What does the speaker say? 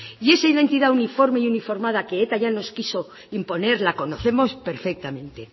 y esa identidad uniforme y uniformada que eta ya nos quiso imponer la conocemos perfectamente